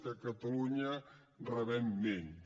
que catalunya rebem menys